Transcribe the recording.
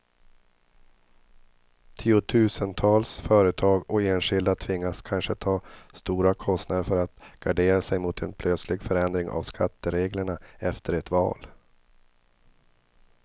Tiotusentals företag och enskilda tvingas kanske ta stora kostnader för att gardera sig mot en plötslig förändring av skattereglerna efter ett val.